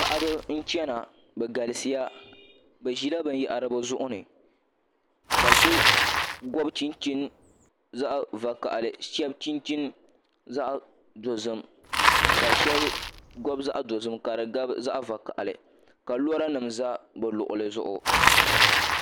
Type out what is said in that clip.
Paɣaba n chɛna bi galisiya bi ʒila binyahari bi zuɣu ni ka so gobi chinchin zaɣ vakaɣali ka shab gobi chinchin zaɣ dozim ka di gabi zaɣ vakaɣali ka lora nim ʒɛ bi luɣuli zuɣu